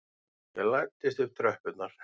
Ég læddist upp tröppurnar.